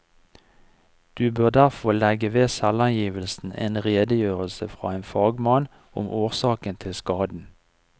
Du bør derfor legge ved selvangivelsen en redegjørelse fra en fagmann om årsaken til skaden.